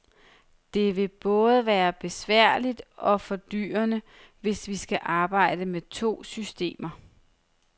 Men det vil både være besværligt og fordyrende, hvis vi skal arbejde med to systemer.